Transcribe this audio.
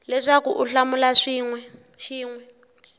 leswaku u hlamula xin we